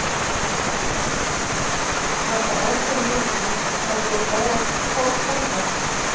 Var það ákveðinn léttir að þær voru báðar kolfelldar?